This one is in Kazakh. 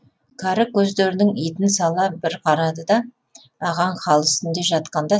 кәрі көздерінің итін сала бір қарады да ағаң хал үстінде жатқанда